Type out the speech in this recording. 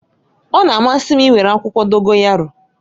Ọ na-amasị m iwere akwụkwọ Dogoyaro